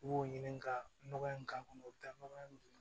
U b'o ɲini ka nɔgɔ in k'a kɔnɔ u bɛ taa nɔgɔ in